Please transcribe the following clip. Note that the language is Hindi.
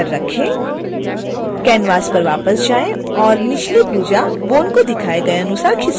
canvas पर वापस जाएं और निचली भुजा bone को दिखाए गए अनुसार खिसकाएँ